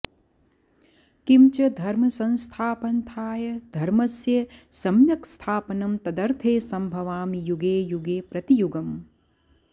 किंच धर्मसंस्थापन्र्थाय धर्मस्य सम्यक्स्थापनं तदर्थेसंभवामि युगे युगे प्रतियुगम्